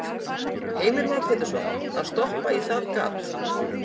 Heimir Már Pétursson: Að stoppa í það gat?